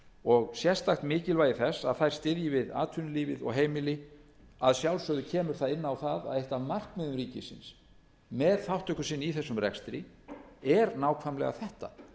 og sérstakt mikilvægi þess að þær styðji við atvinnulífið og heimili að sjálfsögðu kemur það inn á það að eitt af markmiðum ríkisins með þátttöku sinni í þessum rekstri er nákvæmlega þetta